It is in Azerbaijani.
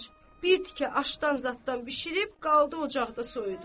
bir tikə aşdan zaddan bişirib qaldı ocaqda soyudu.